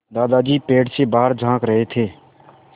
दादाजी पेड़ से बाहर झाँक रहे थे